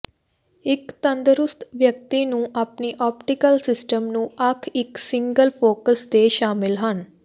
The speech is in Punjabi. ਇੱਕ ਤੰਦਰੁਸਤ ਵਿਅਕਤੀ ਨੂੰ ਵਿੱਚ ਆਪਟੀਕਲ ਸਿਸਟਮ ਨੂੰ ਅੱਖ ਇੱਕ ਸਿੰਗਲ ਫੋਕਸ ਦੇ ਸ਼ਾਮਲ ਹਨ